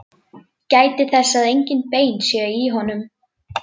Gætið þess að engin bein séu í honum.